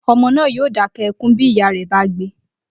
O̩mo̩ náà yóò dáké̩ e̩kún bí ìyá rè̩ bá gbe